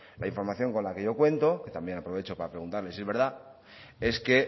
la información con la que yo cuento que también aprovecho para preguntarle si es verdad es que